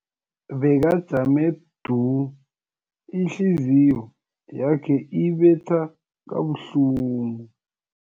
Bekajame du, ihliziyo yakhe ibetha kabuhlungu.